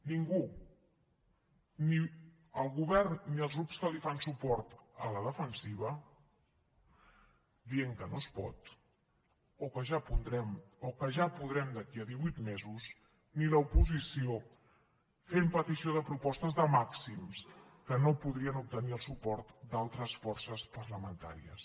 ningú ni el govern ni els grups que li fan suport a la defensiva dient que no es pot o que ja podrem d’aquí a divuit mesos ni l’oposició fent peticions de propostes de màxims que no podrien obtenir el suport d’altres forces parlamentàries